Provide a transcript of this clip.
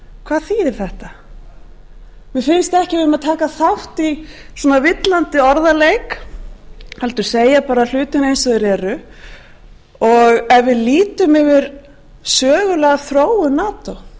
hvað þýðir þetta mér finnst ekki að við ættum taka þátt í svona villandi orðaleik heldur segja bara hlutina eins og þeir eru og ef við lítum yfir sögulega